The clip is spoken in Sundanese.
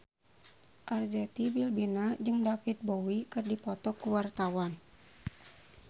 Arzetti Bilbina jeung David Bowie keur dipoto ku wartawan